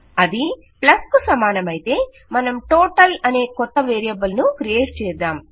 అది ప్లస్ కు సమానమయితే మనం టోటల్ అనే కొత్త వేరియబుల్ ను క్రియేట్ చేద్దాం